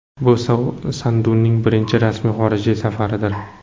Bu Sanduning birinchi rasmiy xorijiy safaridir.